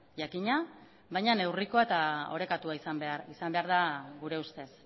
jakina baina neurrikoa eta orekatua izan behar da gure ustez